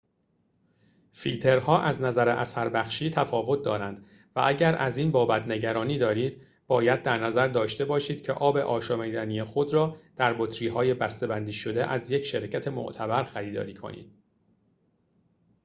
فیلترها از نظر اثربخشی تفاوت دارند و اگر از این بابت نگرانی دارید باید در نظر داشته باشید که آب آشامیدنی خود را در بطری‌های بسته‌بندی شده از یک شرکت معتبر خریداری کنید